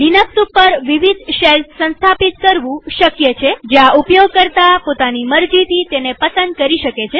Linux ઉપર વિવિધ shells સંસ્થાપિત કરવું શક્ય છેજ્યાં ઉપયોગકર્તા પોતાની મરજીથી તેને પસંદ કરી શકે